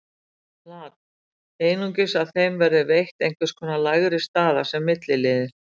Lat. Einungis að þeim verði veitt einhvers konar lægri staða, sem milliliðir.